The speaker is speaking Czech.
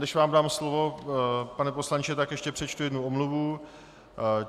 Než vám dám slovo, pane poslanče , tak ještě přečtu jednu omluvu.